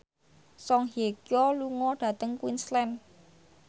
Song Hye Kyo lunga dhateng Queensland